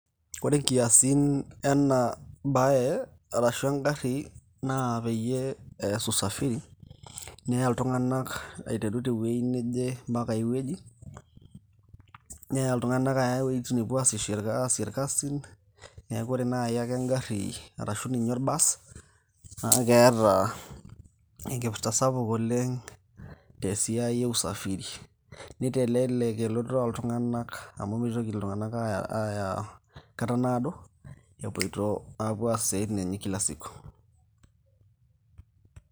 ore inkiasin ena baye arashu engarri naa peyie ees usafiri neya iltung'anak aiteru tewueji neje mpaka ay wueji neya iltung'anak aya iwuejitin nepuo aasishore aasie irkasin neeku ore naaji ake engarri arashu ninye or bus naa keeta enkipirta sapuk oleng te siai e usafiri nitelelek elototo oltung'anak amu mitoki iltung'anak aaya, aaya kata naado epuoito apuo aas isiaitin enye e kil siku.